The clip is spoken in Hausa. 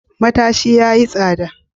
Matashi yayi tsada.